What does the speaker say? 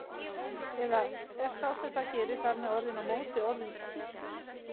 Eða er sá sem það gerir þar með orðinn á móti- orðinn illur?